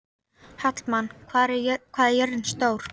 Hallmann, hvað er jörðin stór?